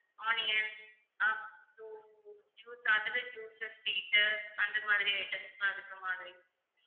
onion juice அதுல juice sweet அந்த மாதிரி items லாம் இருக்கிற மாதிரி